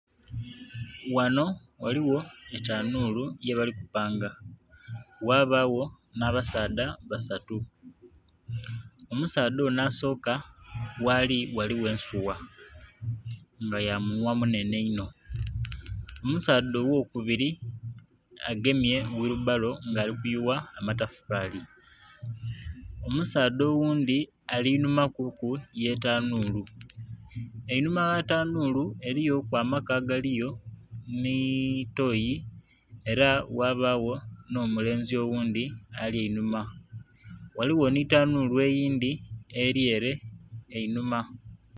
Wano ghaligho etanhulu yebali kupanga ghabagho n'abasaadha basatu. Omusaadha onho asoka wali ghaligho ensuwa nga yamunhwa munhenhe ino, omusaadha owokubiri agemye wiribalo nga alikuyuwa matafali, omusaadha oghundhi alinhuma kuku yetanhulu. Einhuma yetanhulu eriyoku amaka agaliyo nitoyi era ghabagho n'omulenzi oghundhi ali einhuma, ghaligho nitanhulu eyindhi eryere einhuma.